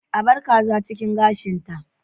A bar kaza cikin gashin ta